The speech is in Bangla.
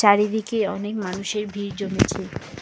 আর এদিকে অনেক মানুষের ভিড় জমেছে।